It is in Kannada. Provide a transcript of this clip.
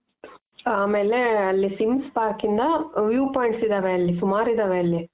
ಆಮೇಲೆ ಅಲ್ಲಿ swings park ಇಂದ view points ಇದಾವೆ. ಅಲ್ಲಿ ಸುಮಾರು ಇದಾವೆ ಅಲ್ಲಿ.